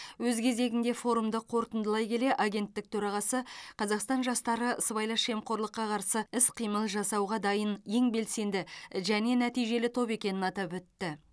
өз кезегінде форумды қорытындылай келе агенттік төрағасы қазақстан жастары сыбайлас жемқорлыққа қарсы іс қимыл жасауға дайын ең белсенді және нәтижелі топ екенін атап өтті